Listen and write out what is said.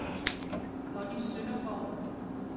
Connie Søndergaard